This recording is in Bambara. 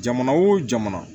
Jamana wo jamana